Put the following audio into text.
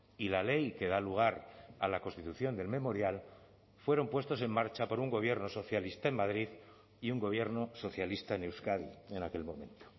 y la ley que da lugar a la constitución del memorial fueron puestos en marcha por un gobierno socialista en madrid y un gobierno socialista en euskadi en aquel momento